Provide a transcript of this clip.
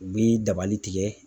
U bi dabali tigɛ.